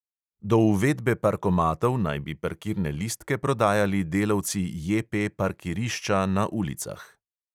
Do uvedbe parkomatov naj bi parkirne listke prodajali delavci JP parkirišča na ulicah.